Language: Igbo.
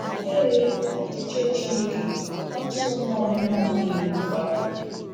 Ee, n’echiche Chineke, arụsọ mmụọ niile abụghị iwu kwadoro.